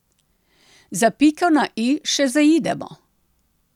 Za piko na i še zaidemo.